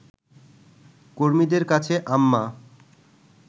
কর্মীদের কাছে আম্মা